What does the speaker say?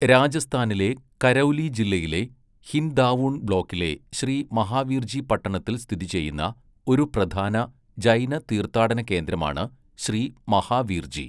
രാജസ്ഥാനിലെ കരൗലി ജില്ലയിലെ ഹിൻദാവുൺ ബ്ലോക്കിലെ ശ്രീ മഹാവീർജി പട്ടണത്തിൽ സ്ഥിതിചെയ്യുന്ന ഒരു പ്രധാന ജൈന തീർത്ഥാടന കേന്ദ്രമാണ് ശ്രീ മഹാവീർജി.